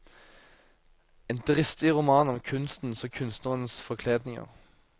En dristig roman om kunstens og kunstnerens forkledninger.